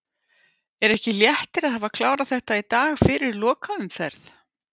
Er ekki léttir að hafa klárað þetta í dag fyrir lokaumferð?